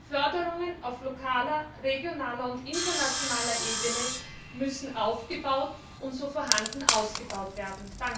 Förderungen auf lokaler, regionaler und internationaler Ebene müssen aufgebaut und so vorhanden ausgebaut werden!